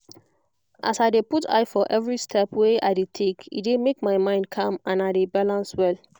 as i dey put eye for every step wey i dey take e dey make my mind calm and i de balance well